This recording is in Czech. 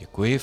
Děkuji.